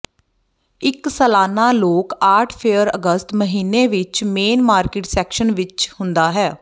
ਇੱਕ ਸਾਲਾਨਾ ਲੋਕ ਆਰਟ ਫੇਅਰ ਅਗਸਤ ਮਹੀਨੇ ਵਿੱਚ ਮੇਨ ਮਾਰਕੀਟ ਸੈਕਸ਼ਨ ਵਿੱਚ ਹੁੰਦਾ ਹੈ